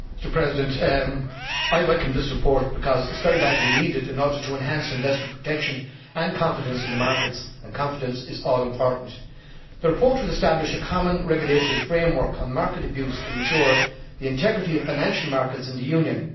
Mr President, I welcome this report, because it is very badly needed in order to enhance investor protection and confidence in the markets and confidence is all important. The report would establish a common regulatory framework on market abuse to ensure the integrity of financial markets in the Union.